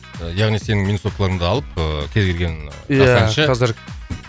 яғни сенің минусовкаларыңды алып ыыы кез келген ия жас әнші қазір